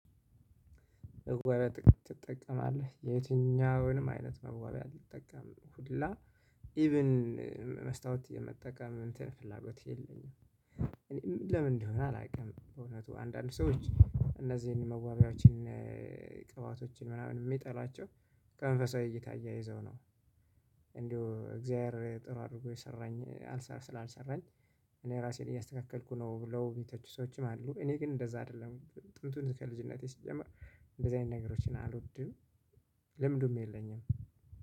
መዋቢ ትጠቀማለህ የትኛውንም አይነት መዋቢያ አይጠቀምም ሁላ ኢቭን መስታወት የመጠቀም እንትን ፍላጎት የለኝም። እኔም ለምን እንደሆነ አላውቅም በእውነቱ አንዳንድ ሰዎች እነዚህን መዋቢያዎችን ቅባቶችን ምናምን የሚጠሏቸው በመንፈሳዊ እይታ አያይዘው ነው እንዲሁ እግዚአብሔር ጥሩ አድርጎ የሰራኝ ስላልሰራኝ እራሴን እያስተካከልኩ ነው ብለው የሚተቹ ሰዎችም አሉ እኔ ግን ጥንቱም ከልጅነቴ ሲጀመር እንደዛ አይነት ነገሮችን አልወድም ልምዱም የለኝም።